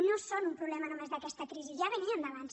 no són un problema només d’aquesta crisi ja venien d’abans